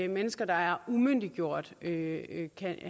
mennesker der er umyndiggjort ikke